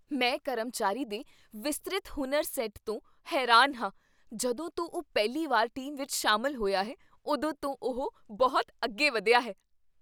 ਮੈਂ ਕਰਮਚਾਰੀ ਦੇ ਵਿਸਤਰਿਤ ਹੁਨਰ ਸੈੱਟ ਤੋਂ ਹੈਰਾਨ ਹਾਂ ਜਦੋਂ ਤੋਂ ਉਹ ਪਹਿਲੀ ਵਾਰ ਟੀਮ ਵਿੱਚ ਸ਼ਾਮਲ ਹੋਇਆ ਹੈ, ਉਦੋਂ ਤੋਂ ਉਹ ਬਹੁਤ ਅੱਗੇ ਵਧਿਆ ਹੈ